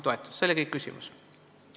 " See oli kõik küsimus.